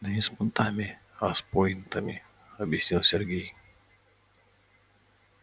да не с понтами а с пойнтами объяснил сергей